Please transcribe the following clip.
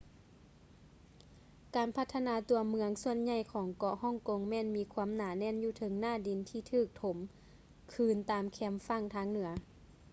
ການພັດທະນາຕົວເມືອງສ່ວນໃຫຍ່ຂອງເກາະຮ່ອງກົງແມ່ນມີຄວາມໜາແໜ້ນຢູ່ເທິງໜ້າດິນທີ່ຖືກຖົມຄືນຕາມແຄມຝັ່ງທາງເໜືອ